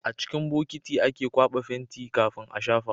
A cikin bokiti ake kwaba fenti kafin a shafa